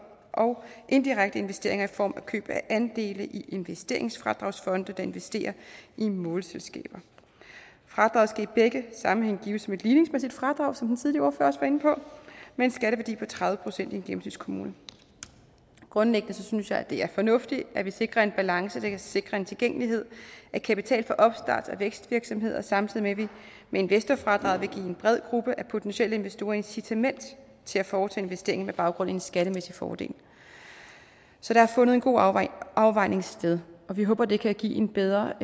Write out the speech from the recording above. og indirekte investeringer i form af køb af andele i investeringsfradragsfonde der investerer i målselskaber fradraget skal i begge sammenhænge gives med et ligningsmæssigt fradrag som den tidligere også var inde på med en skatteværdi på tredive procent i en gennemsnitskommune grundlæggende synes jeg det er fornuftigt at vi sikrer en balance der kan sikre en tilgængelighed af kapital for opstarts og vækstvirksomheder samtidig med at vi med investorfradraget en bred gruppe af potentielle investorer incitament til at foretage investeringer med baggrund i en skattemæssig fordel så der er fundet en god afvejning afvejning sted og vi håber det kan give en bedre